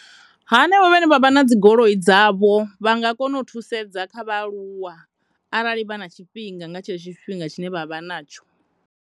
Hanevho vhane vha vha na dzi goloi dzavho vha nga kona u thusedza kha vhaaluwa arali vha na tshifhinga nga tshetsho tshifhinga tshine vha vha natsho.